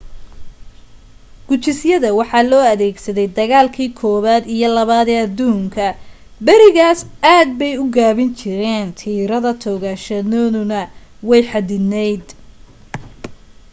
gujisyada waxa loo adeegsaday dagaalkii koobaad iyo labaad ee aduunka berigaas aad bay u gaabin jireen tiirada toogashadooduna way xaddidnayd